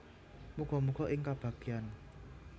Muga muga ing kabagyan